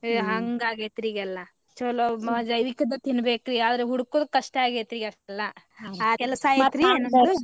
ಹಂಗ್ ಆಗೇತ್ರಿ ಈಗ ಎಲ್ಲಾ ಚೊಲೋ ಜೈವಿಕದ್ದ ತಿನ್ಬೇಕ್ರಿ ಆದ್ರ ಹುಡುಕೋದ್ ಕಷ್ಟ ಆಗೇತ್ರಿ ಈಗ ಎಲ್ಲಾ .